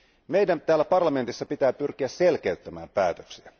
Meidän täällä parlamentissa pitää pyrkiä selkeyttämään päätöksiä.